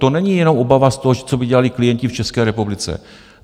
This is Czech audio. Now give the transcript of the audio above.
To není jenom obava z toho, co by dělali klienti v České republice.